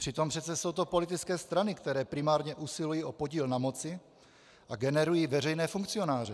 Přitom přece jsou to politické strany, které primárně usilují o podíl na moci a generují veřejné funkcionáře.